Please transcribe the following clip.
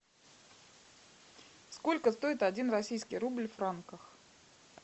сколько стоит один российский рубль в франках